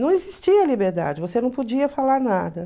Não existia liberdade, você não podia falar nada.